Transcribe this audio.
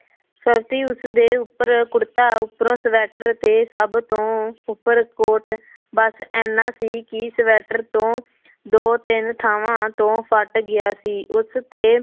ਉਸਦੇ ਉੱਪਰ ਕੁੜਤਾ ਉਪਰੋਂ ਸਵੈਟਰ ਤੇ ਸਭ ਤੋਂ ਉੱਪਰ ਕੋਟ ਬਸ ਇੰਨਾ ਸੀ ਕਿ ਸਵੈਟਰ ਤੋਂ ਦੋ ਤਿੰਨ ਥਾਵਾਂ ਤੋਂ ਫਟ ਗਿਆ ਸੀ ਉਸ ਤੇ